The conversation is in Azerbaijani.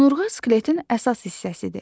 Onurğa skeletin əsas hissəsidir.